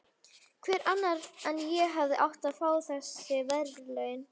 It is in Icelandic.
Hver annar en ég hefði átt að fá þessi verðlaun?